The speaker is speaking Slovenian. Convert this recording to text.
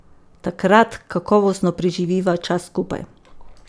Takrat kakovostno preživiva čas skupaj.